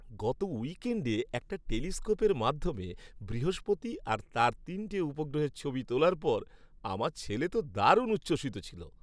গত উইকেণ্ডে একটা টেলিস্কোপের মাধ্যমে বৃহস্পতি আর তার তিনটে উপগ্রহের ছবি তোলার পর আমার ছেলে তো দারুণ উচ্ছ্বসিত ছিল।